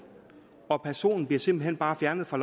og personen bliver simpelt hen bare fjernet fra